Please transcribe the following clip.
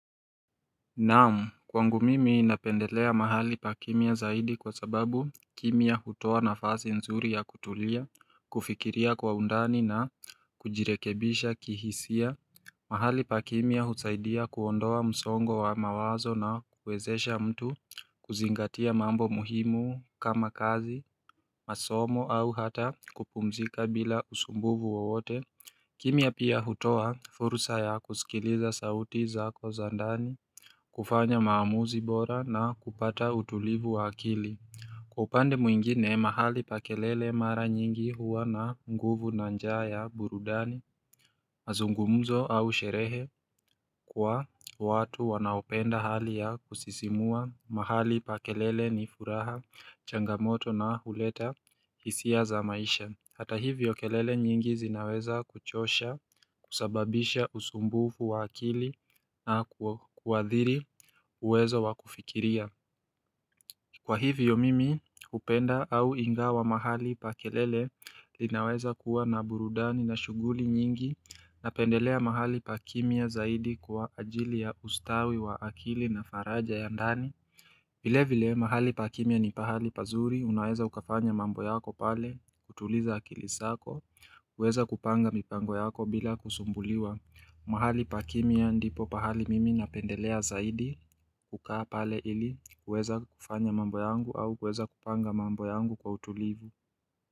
Naam, kwangu mimi napendelea mahali pa kimya zaidi kwa sababu kimya hotoa nafasi nzuri ya kutulia, kufikiria kwa undani na kujirekebisha kihisia. Mahali pakimya husaidia kuondoa msongo wa mawazo na kuwezesha mtu kuzingatia mambo muhimu kama kazi, masomo au hata kupumzika bila usumbuvu wowote. Kimya pia hutoa fursa ya kusikiliza sauti zako za ndani. Kufanya maamuzi bora na kupata utulivu wa akili Kwa upande mwingine mahali pa kelele mara nyingi huwa na nguvu na njaa ya burudani mazungumzo au sherehe kwa watu wanaopenda hali ya kusisimua mahali pa kelele ni furaha changamoto na huleta hisia za maisha Hata hivyo kelele nyingi zinaweza kuchosha, kusababisha usumbufu wa akili na kuathiri uwezo wa kufikiria. Kwa hivyo mimi, upenda au ingawa mahali pa kelele linaweza kuwa na burudani na shuguli nyingi na pendelea mahali pa kimya zaidi kwa ajili ya ustawi wa akili na faraja ya ndani. Vile vile mahali pakimya ni pahali pazuri, unaweza ukafanya mambo yako pale, kutuliza akilisako, uweza kupanga mipango yako bila kusumbuliwa. Mahali pakimya ndipo pahali mimi napendelea zaidi, kukaa pale ili, uweza kufanya mambo yangu au uweza kupanga mambo yangu kwa utulivu.